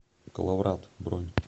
коловрат бронь